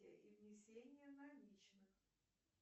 и внесение наличных